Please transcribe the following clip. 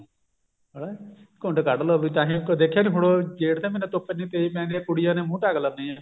ਘੁੰਡ ਕੱਢ ਲੋ ਵੀ ਤਾਹੀ ਦੇਖਿਆ ਨੀ ਜੇਠ ਦੇ ਮਹੀਨੇ ਧੁੱਪ ਇੰਨੀ ਤੇਜ਼ ਹੈ ਕੁੜੀਆਂ ਨੇ ਮੁੰਹ ਢਕ ਲੈਂਦੀਆਂ ਨੇ